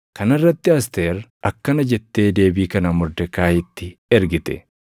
Kana irratti Asteer akkana jettee deebii kana Mordekaayiitti ergite: